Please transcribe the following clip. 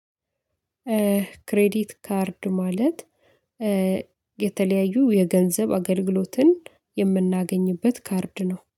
ክሬዲት ካርድ ማለት የተለያዩ የገንዘብ አገልግሎትን የምናገኝበት ካርድ ነው።